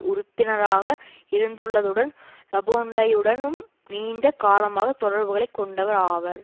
உறுப்பினராக இருந்துள்ளதுடன் லாபொன்டைனுடனும் நீண்ட காலமாக தொடர்புகளை கொண்டவர் ஆவார்